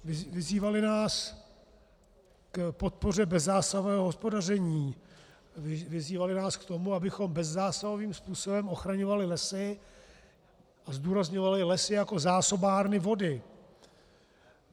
Vyzývali nás k podpoře bezzásahové hospodaření, vyzývali nás k tomu, abychom bezzásahovým způsobem ochraňovali lesy, a zdůrazňovali lesy jako zásobárny vody.